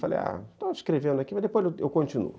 Falei, ah, estou escrevendo aqui, mas depois eu continuo.